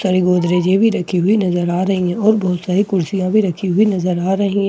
सारी भी रखी हुई नजर आ रही है और बहुत सारी कुर्सियां भी रखी हुई नजर आ रही है ।